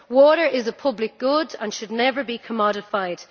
Water is a public good and should never be commodified.